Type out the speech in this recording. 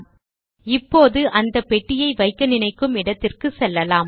000443 000349 இப்பொழுது அந்த பெட்டியை வைக்க நினைக்கும் இடத்திற்குச் செல்லலாம்